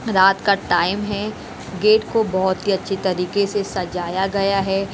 रात का टाइम है गेट को बहुत ही अच्छी तरीके से सजाया गया है।